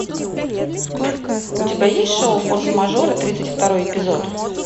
у тебя есть шоу форс мажоры тридцать второй эпизод